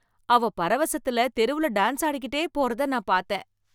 அவள் பரவசத்துல தெருவில டான்ஸ் ஆடிக்கிட்டே போறத நான் பார்த்தேன்